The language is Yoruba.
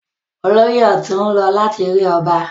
Olóyè ọ̀tún ń lọ láti rí ọba.